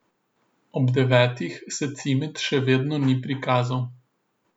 Ob devetih se Cimet še vedno ni prikazal.